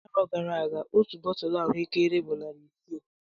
Arọ gara aga otu bọtulụ ahuekere bụ narị isii